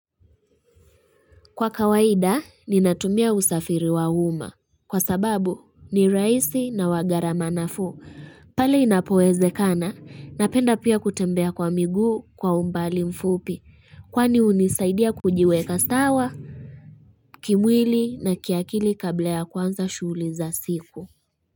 Kwa kawaida, ninatumia usafiri wa uma. Kwa sababu, ni rahisi na wagarama nafuu. Pale inapo ezekana, napenda pia kutembea kwa miguu kwa umbali mfupi. Kwani unisaidia kujiweka sawa, kimwili na kiakili kabla ya kwanza shuli za siku.